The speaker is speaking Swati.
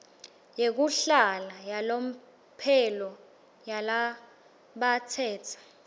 yekuhlala yalomphelo yalabatsetse